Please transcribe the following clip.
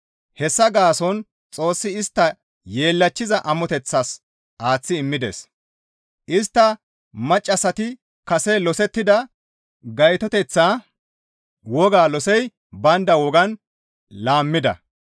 Hessa gaason Xoossi istta yeellachchiza amoteththas aaththi immides; istta maccassati kase losettida gaytoteththa wogaa losey baynda wogan laammida.